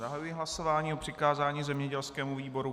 Zahajuji hlasování o přikázání zemědělskému výboru.